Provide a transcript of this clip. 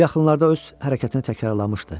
Bu yaxınlarda öz hərəkətini təkrarlamışdı.